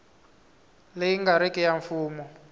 leyi nga riki ya mfumo